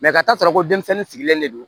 ka taa sɔrɔ ko denmisɛnnin sigilen de don